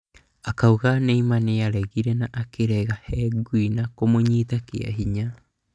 Akauga Neymar nĩaregire na akĩrehe ngũĩ na kũmũnyita kĩahinya